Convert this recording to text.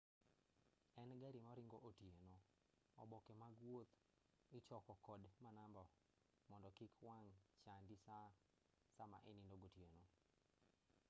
e gari maringo otieno oboke mag wuoth ichoko kod manamba mondo kik wang' chandi sama inindo gotieno